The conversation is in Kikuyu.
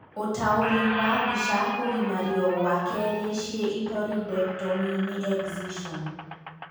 Ũtauũri wa mbica..kũgimario gua kerĩ cĩitoridectomy nĩ Excision